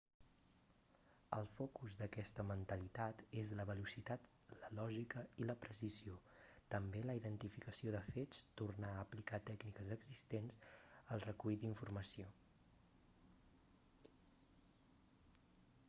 el focus d'aquesta mentalitat és la velocitat la lògica i la precisió també la identificació de fets tornar a aplicar tècniques existents el recull d'informació